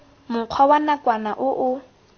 mokgwa wa nakwana o o